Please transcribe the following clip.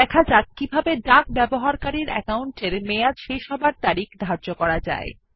এখন দেখা যাক কিভাবে ডাক ব্যবহারকারীর অ্যাকাউন্টের মেয়াদ শেষ হওয়ার তারিখ ধার্য করা যায়